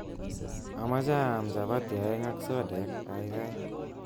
Amache aam chapati aeng ak sodek kaikai